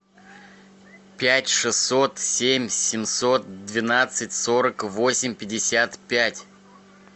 пять шестьсот семь семьсот двенадцать сорок восемь пятьдесят пять